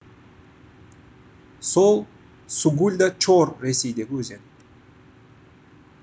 сол сугульда чор ресейдегі өзен